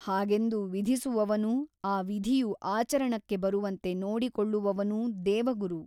ಹಾಗೆಂದು ವಿಧಿಸುವವನೂ ಆ ವಿಧಿಯು ಆಚರಣಕ್ಕೆ ಬರುವಂತೆ ನೋಡಿಕೊಳ್ಳುವವನೂ ದೇವಗುರು !